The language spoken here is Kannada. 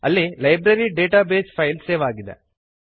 ಅಲ್ಲಿ library database file save ಆಗಿದೆ